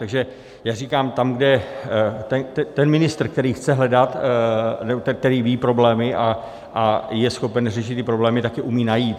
Takže já říkám, tam, kde ten ministr, který chce hledat, který ví problémy a je schopen řešit ty problémy, tak je umí najít.